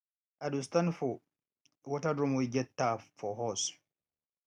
i do stand for water drum wey get tap for hose